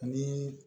Ani